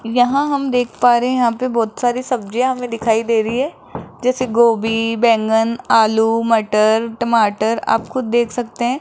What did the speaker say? यहां हम देख पा रहे हैं यहां पे बहोत सारी सब्जियां हमें दिखाई दे रही है जैसे गोभी बैंगन आलू मटर टमाटर आप खुद देख सकते हैं।